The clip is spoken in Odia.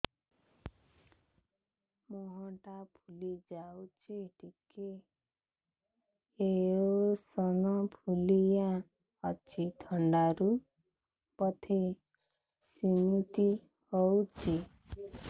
ମୁହଁ ଟା ଫୁଲି ଯାଉଛି ଟିକେ ଏଓସିନୋଫିଲିଆ ଅଛି ଥଣ୍ଡା ରୁ ବଧେ ସିମିତି ହଉଚି